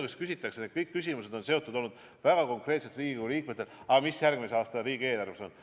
Kõik Riigikogu liikmete küsimused on olnud väga konkreetselt selle kohta, mis järgmise aasta riigieelarves on.